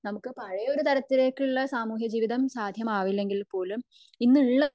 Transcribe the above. നമുക് പഴേ ഒരു തലത്തിലേക്കുള്ള സാമൂഹിക ജീവിതം സഹമാവില്ലെങ്കിൽ പോലും ഇന്ന് ഉള്ള